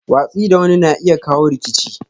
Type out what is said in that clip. Watsi da wani na iya kawo rikici.